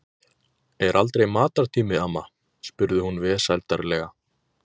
Er aldrei matartími, amma? spurði hún vesældarlega.